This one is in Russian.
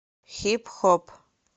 хип хоп